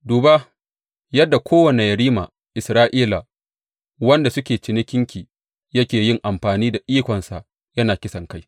Duba yadda kowane yerima Isra’ila waɗanda suke cikinki yake yin amfani da ikonsa yana kisankai.